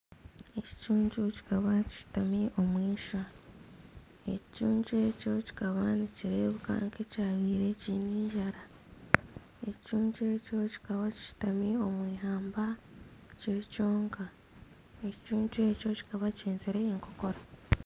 Ekicuncu kikaba kishutami omwishwa, ekicuncu ekyo kikaba nikireebeka nk'ekyabaire kiine enjara, ekicuncu ekyo kikaba kishutami omu ihamba kiri kyonka, ekicuncu ekyo kikaba kihenzire enkokora